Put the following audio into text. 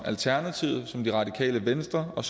alternativet det radikale venstre og